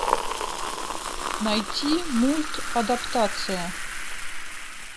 найти мульт адаптация